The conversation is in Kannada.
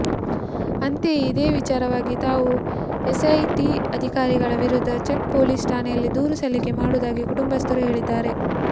ಅಂತೆಯೇ ಇದೇ ವಿಚಾರವಾಗಿ ತಾವು ಎಸ್ಐಟಿ ಅಧಿಕಾರಿಗಳ ವಿರುದ್ಧ ಚೌಕ್ ಪೊಲೀಸ್ ಠಾಣೆಯಲ್ಲಿ ದೂರು ಸಲ್ಲಿಕೆ ಮಾಡುವುದಾಗಿ ಕುಟುಂಬಸ್ಥರು ಹೇಳಿದ್ದಾರೆ